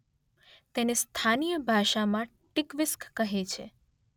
તેને સ્થાનીય ભાષામાં ટીક્વીસ્ક કહે છે.